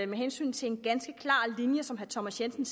med hensyn til en klar linje som herre thomas jensen